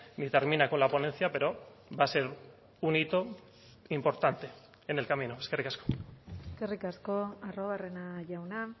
ni termina con la ponencia pero va a ser un hito importante en el camino eskerrik asko eskerrik asko arruabarrena jauna